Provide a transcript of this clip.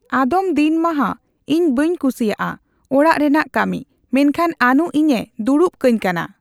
ᱟᱫᱚᱢ ᱫᱤᱱ ᱢᱟᱦᱟᱸ ᱤᱧ ᱵᱟᱹᱧ ᱠᱩᱥᱤᱭᱟᱜ ᱟ ᱚᱲᱟᱜ ᱨᱮᱱᱟᱜ ᱠᱟᱢᱤ᱾ᱢᱮᱱᱠᱷᱟᱱ ᱟᱱᱩ ᱤᱧ ᱮ ᱫᱩᱲᱩᱵ ᱠᱟᱧ ᱠᱟᱱᱟ᱾